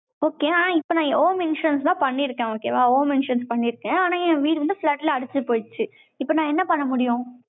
okay ஆனா, இப்ப நான், எவ்வளவு mentions எல்லாம், பண்ணியிருக்கேன். okay வா? home insurance தான் பண்ணியிருக்கேன். ஆனா, என் வீடு வந்து, flood ல, அடிச்சு போயிருச்சு. இப்ப, நான், என்ன பண்ண முடியும்